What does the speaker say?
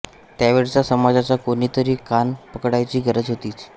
त्यावेळच्या समाजाचा कोणी तरी कान पकडायची गरज होतीच